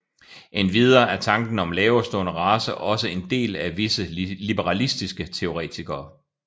Endvidere er tanken om laverestående racer også en del af visse liberalistiske teoretikere